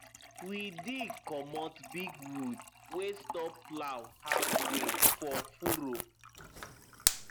we dig comot big wood wey stop plow halfway for furrow